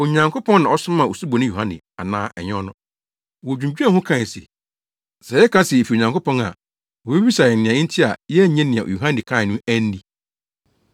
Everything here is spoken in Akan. Onyankopɔn na ɔsomaa Osuboni Yohane anaa ɛnyɛ ɔno?” Wodwinnwen ho kae se, “Sɛ yɛka sɛ ‘Efi Onyankopɔn’ a, wobebisa yɛn nea enti a yɛannye nea Yohane kae no anni?